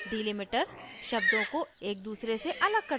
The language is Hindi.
delimiter शब्दों को एक दूसरे से अलग करता है